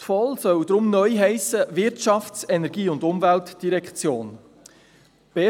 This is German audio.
Die VOL soll deshalb neu «Wirtschafts-, Energie- und Umweltdirektion» heissen.